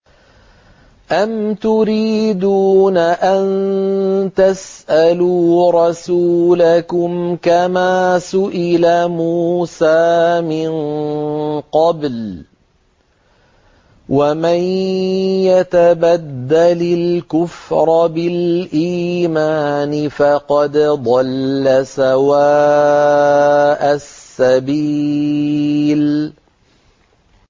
أَمْ تُرِيدُونَ أَن تَسْأَلُوا رَسُولَكُمْ كَمَا سُئِلَ مُوسَىٰ مِن قَبْلُ ۗ وَمَن يَتَبَدَّلِ الْكُفْرَ بِالْإِيمَانِ فَقَدْ ضَلَّ سَوَاءَ السَّبِيلِ